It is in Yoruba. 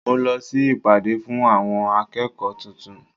Mo lọ sí ìpàdé fún àwọn akẹ́kọ̀ọ́ tuntun.